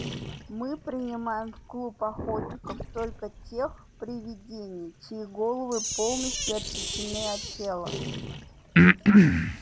мы принимаем в клуб охотников только тех привидений чьи головы полностью отсечены от тела